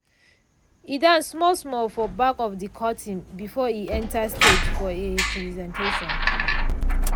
e dance small small for back of de curtain before e enter stage for e presentation.